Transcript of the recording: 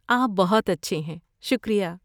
آپ بہت اچھے ہیں! شکریہ!